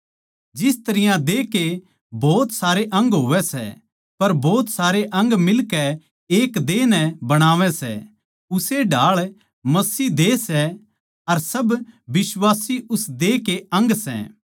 जिस तरियां देह के भोत सारे अंग होवै सै पर भोत सारे अंग मिलके एक देह नै बणावै सै उस्से ढाळ मसीह देह सै अर सब बिश्वासी उसके देह के अंग सै